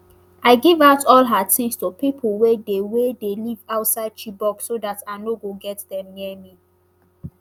i give out all her tins to pipo wey dey wey dey live outside chibok so dat i no go get dem near me